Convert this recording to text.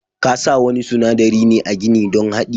Kasa wani sunadari ne a gini don hadi.